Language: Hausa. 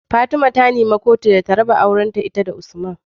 Fatima ta nemi kotu da raba auren ta da usman